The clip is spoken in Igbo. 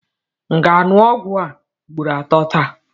M ga-aṅụ ọgwụ a ugboro atọ taa?